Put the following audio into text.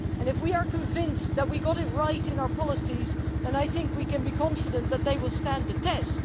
If we are convinced that we have got it right in our policies, I think we can be confident that they will stand the test.